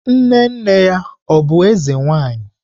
Nne nne ya ọ̀ bụbu eze nwanyi?